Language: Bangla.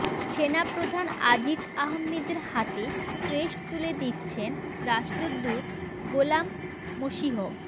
সেনাপ্রধান আজিজ আহমেদের হাতে ক্রেস্ট তুলে দিচ্ছেন রাষ্ট্রদূত গোলাম মসীহ